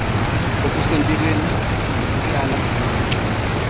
okusempilweni buhlala buyiphucula